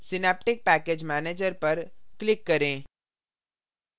synaptic package manager पर click करें